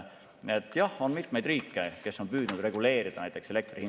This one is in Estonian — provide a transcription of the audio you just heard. Jah, on mitmeid riike, kes on püüdnud reguleerida.